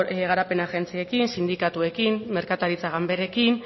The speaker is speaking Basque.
garapen agentziekin sindikatuekin merkataritza ganberekin